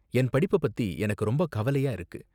என் படிப்ப பத்தி எனக்கு ரொம்ப கவலையா இருக்கு.